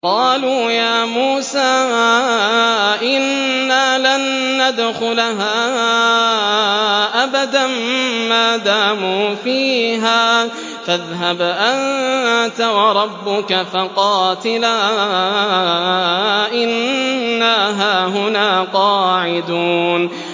قَالُوا يَا مُوسَىٰ إِنَّا لَن نَّدْخُلَهَا أَبَدًا مَّا دَامُوا فِيهَا ۖ فَاذْهَبْ أَنتَ وَرَبُّكَ فَقَاتِلَا إِنَّا هَاهُنَا قَاعِدُونَ